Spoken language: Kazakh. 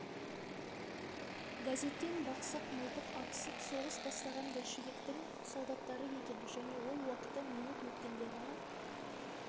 газеттен бақсақ мылтық атысып соғыс бастаған большевиктің солдаттары екен және ол уақыты минут өткенде ғана